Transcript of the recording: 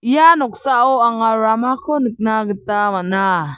ia noksao anga ramako nikna gita man·a.